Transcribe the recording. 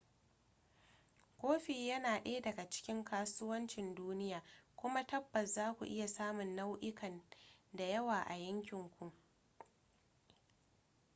kofi yana daya daga cikin kasuwancin duniya kuma tabbas za ku iya samun nau'ikan da yawa a yankinku